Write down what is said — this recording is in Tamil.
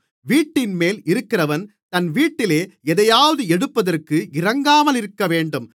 வீட்டின்மேல் இருக்கிறவன் தன் வீட்டிலே எதையாவது எடுப்பதற்கு இறங்காமலிருக்கவேண்டும்